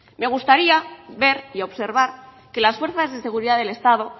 me gustaría ver y observar que las fuerzas de seguridad del estado